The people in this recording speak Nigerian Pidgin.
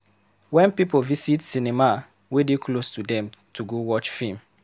Wen pipo visit cinema wey dey close to dem to go watch film.